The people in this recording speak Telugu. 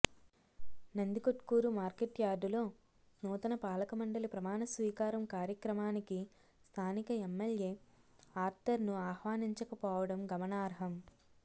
నందికొట్కూరు మార్కెట్యార్డులో నూతన పాలక మండలి ప్రమాణస్వీకారం కార్యక్రమానికి స్థానిక ఎమ్మెల్యే ఆర్తర్ను ఆహ్వానించకపోవడం గమనార్హం